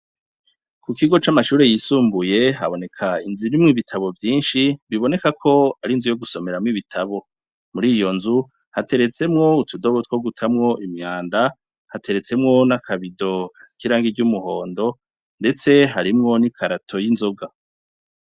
Ku kigo c'amashure yisumbuye haboneka inzu irimwo ibitabo vyinshi biboneka ko ar'inzu yo gusomeramwo ibitabo, muriyo nzu hateretsemwo utudobo two gutamwo umwanda hamwe n'akabido k'umuhondo ndetse harimwo n'ikarato y'inzoga.